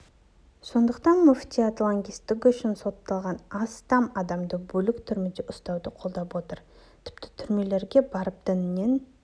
сондықтан мүфтият лаңкестігі үшін сотталған астам адамды бөлек түрмеде ұстауды қолдап отыр тіпті түрмелерге барып дінінен